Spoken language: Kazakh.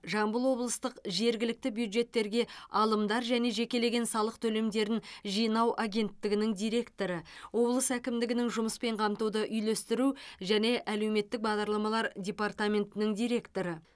жамбыл облыстық жергілікті бюджеттерге алымдар және жекелеген салық төлемдерін жинау агенттігінің директоры облыс әкімдігінің жұмыспен қамтуды үйлестіру және әлеуметтік бағдарламалар департаментінің директоры